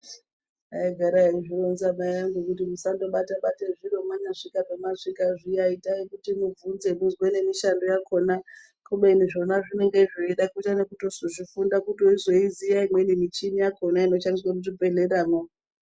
Aigara eizvironza mai angu kuti musandobata-bate zviro mwanyasvika pamasvika zviya itai kuti mubvunze muzwe nemishando yakona kubeni zvona zvinenge zveida kuita nekutozozvifunda kuti uzoiziya imweni michini yakona inoshandiswe muzvibhehleramwo.